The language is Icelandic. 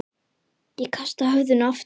Ég kasta höfðinu aftur.